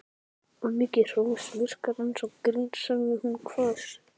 Of mikið hrós virkar eins og grín sagði hún hvöss.